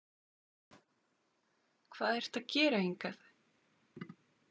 Hvað ertu að gera hingað?